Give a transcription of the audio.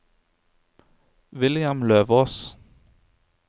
William Løvås